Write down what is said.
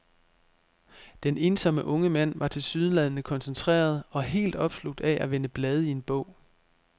Den ensomme unge mand var tilsyneladende koncentreret og helt opslugt af at vende blade i en bog.